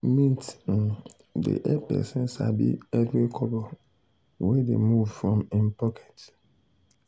mint um dey help person sabi every kobo wey dey move from him pocket.